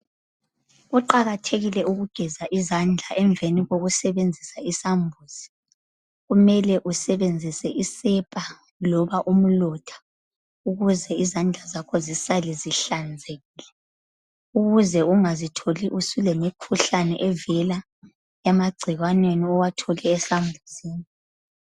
Kuqakathekile ukugeza izandla emveni kokusebenzisa isambuzi. Kumele usebenzise isepa loba umlotha ukuze izandla zakho zisale zihlanzekile. Ukuze ungazitholi uselemikhuhlane evela emagcikwaneni owathole esambuzini.